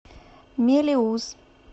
мелеуз